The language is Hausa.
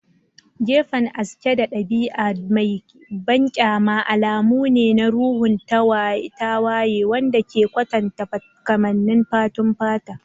Gefen aske da ɗabi'a mai banƙyama alamu ne na ruhun tawaye wanda ke kwatanta kamannin fatun fata.